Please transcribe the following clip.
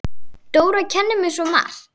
Dóra kenndi mér svo margt.